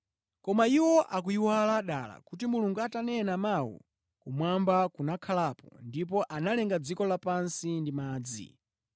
Koma iwo akuyiwala dala kuti Mulungu atanena mawu, kumwamba kunakhalapo ndipo analenga dziko lapansi ndi madzi.